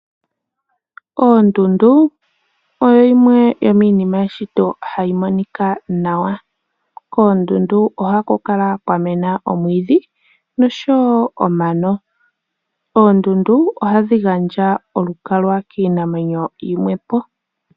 Ondundu oyo yimwe yomiinima yeshito hayi monika nawa. Koondundu oha kukala kwamena omwiidhi noshowo omano. Oondundu oha dhi gandja olukalwa kiinamwenyo yimwepo.